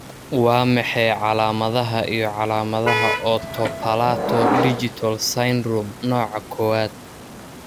Waa maxay calaamadaha iyo calaamadaha Oto palato digital syndrome nooca Kowaad?